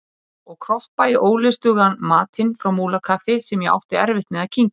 ið og kroppa í ólystugan matinn frá Múlakaffi sem ég átti erfitt með að kyngja.